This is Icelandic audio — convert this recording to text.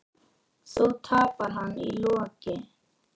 Þó tapar hann í lokin.